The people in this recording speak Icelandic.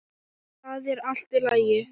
ÞAÐ ER ALLT Í LAGI!